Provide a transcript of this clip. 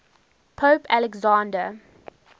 pope alexander